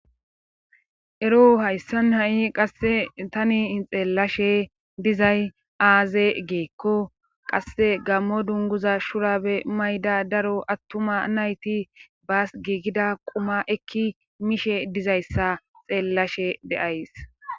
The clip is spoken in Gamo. Ero hayssan ha'i qasse tani xeellashe dizay aaze geekko qasse gammo dunguza shurabe mayda daro attuma nayti baas giigida quma ekki mishe dizayssa xeellashe deyays.